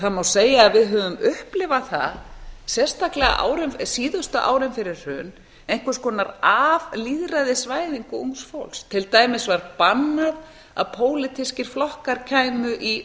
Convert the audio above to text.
það má segja að við höfum upplifað það sérstaklega á síðustu árum fyrir hrun einhvers konar aflýðræðisvæðingu ungs fólks á var bannað að pólitískir flokkar